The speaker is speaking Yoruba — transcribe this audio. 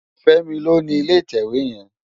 Femi ló ni ilé itèwé yèn